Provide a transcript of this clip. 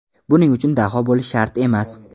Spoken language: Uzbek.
Buning uchun daho bo‘lishi shart emas.